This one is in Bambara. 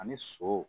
Ani sɔ